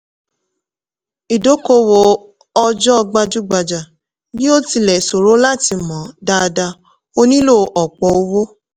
ìdókòwò òòjọ́ gbajúgbajà bí ó tilẹ̀ sòro lát mọ̀ dáadáa ó nílò ọ̀pọ̀ owó.